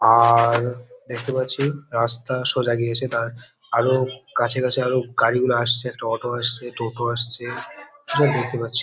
আআআর দেখতে পাচ্ছি রাস্তা সোজা গিয়েছে। তার আরো কাছে কাছে আরো গাড়িগুলো আসছে। একটা অটো আসছে টোটো আসছে। কিছুটা দেখতে পাচ্ছি।